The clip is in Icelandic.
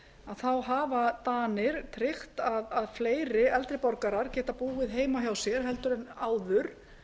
þá hafa danir tryggt að fleiri eldri borgarar geta búið heima hjá sér heldur en áður